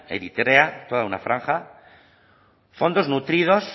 eritrea toda una franja fondos nutridos